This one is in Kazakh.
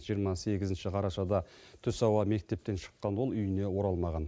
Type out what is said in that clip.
жиырма сегізінші қарашада түс ауа мектептен шыққан ол үйіне оралмаған